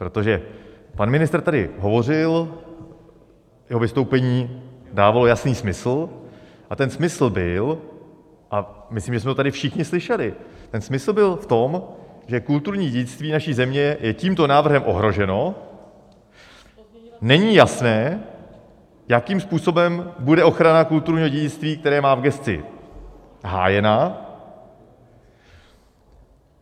Protože pan ministr tady hovořil, jeho vystoupení dávalo jasný smysl, a ten smysl byl a myslím, že jsme to tady všichni slyšeli, ten smysl byl v tom, že kulturní dědictví naší země je tímto návrhem ohroženo, není jasné, jakým způsobem bude ochrana kulturního dědictví, které má v gesci, hájena.